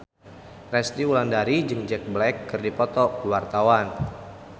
Resty Wulandari jeung Jack Black keur dipoto ku wartawan